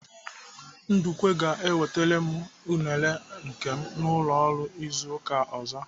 Ndukwe ga-ewetara m unere nke m n'ụlọ ọrụ izu ụka ọzọ.